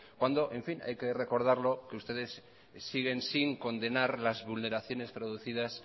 cuando hay que recordarlo que ustedes siguen sin condenar las vulneraciones producidas